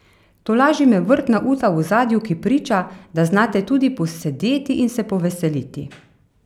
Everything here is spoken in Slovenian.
Tolaži me vrtna uta v ozadju, ki priča, da znate tudi posedeti in se poveseliti.